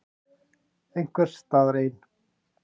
Einhvers staðar ein.